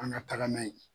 An ka tagama yen